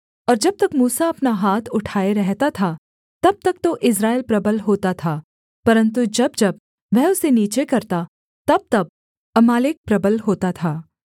और जब तक मूसा अपना हाथ उठाए रहता था तब तक तो इस्राएल प्रबल होता था परन्तु जब जब वह उसे नीचे करता तबतब अमालेक प्रबल होता था